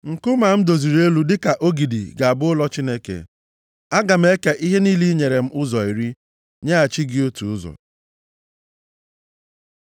Nkume a m doziri elu dịka ogidi ga-abụ ụlọ Chineke. Aga m eke ihe niile i nyere m ụzọ iri, nyeghachi gị otu ụzọ.”